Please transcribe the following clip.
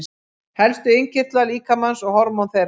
Helstu innkirtlar líkamans og hormón þeirra.